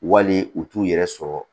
Wali u t'u yɛrɛ sɔrɔ